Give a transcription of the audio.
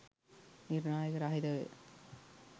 නිර්ණායක රහිතවය.